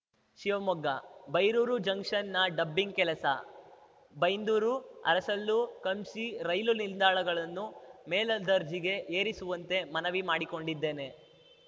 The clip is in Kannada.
ಶಿವಮೊಗ್ಗ ಬೈರೂರು ಜಂಕ್ಷನ್‌ನ ಡಬ್ಬಿಂಗ್‌ ಕೆಲಸ ಬೈಂದೂರು ಅರಸಲು ಕಂಮ್ಸಿ ರೈಲು ನಿಲ್ದಾಣಗಳನ್ನು ಮೇಲದರ್ಜಿಗೆ ಏರಿಸುವಂತೆ ಮನವಿ ಮಾಡಿಕೊಂಡಿದ್ದೇನೆ